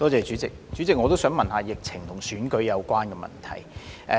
主席，我也想詢問疫情與選舉相關的問題。